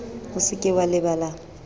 o se ke wa lebala